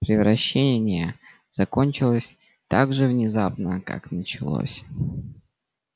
превращение закончилось так же внезапно как началось